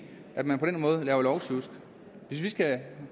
at man på den måde laver lovsjusk hvis vi skal